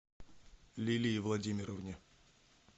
лилии владимировне